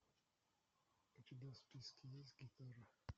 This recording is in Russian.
у тебя в списке есть гитара